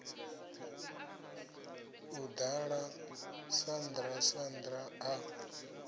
a ḓala sandra sandra a